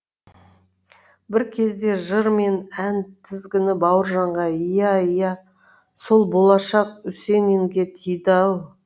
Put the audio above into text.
бір кезде жыр мен ән тізгіні бауыржанға иә иә сол болашақ үсенинге тиді ау